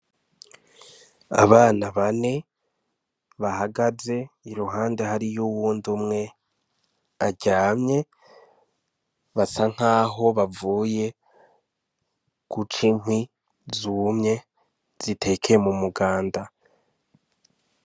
Abana bane bahagaze iruhande hariyo uwundi umwe aryamye basa nkaho bavuye guca inkwi zumye zitekeye mu muganda.